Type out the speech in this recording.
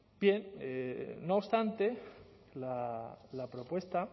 bien no obstante la propuesta